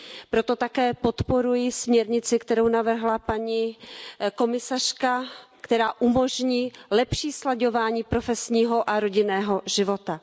Proto také podporuji směrnici, kterou navrhla paní komisařka, která umožní lepší slaďování profesního a rodinného života.